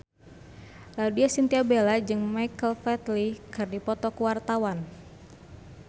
Laudya Chintya Bella jeung Michael Flatley keur dipoto ku wartawan